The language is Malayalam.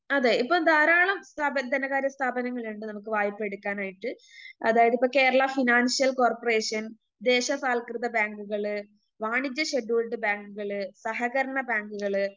അതെ ഇപ്പൊ ധാരാളം സ്ഥാപന ധനകാര്യ സ്ഥാപനങ്ങളിണ്ട് നമുക്ക് വായ്‌പയെടുക്കാനായിട്ട് അതായതിപ്പോ കേരളാ ഫിനാൻഷ്യൽ കോർപ്പറേഷൻ, ദേശസാത്‌കൃത ബാങ്കുകള്, വാണിജ്യ ഷെഡ്യൂൾഡ് ബാങ്കുകള്, സഹകരണ ബാങ്കുകള്,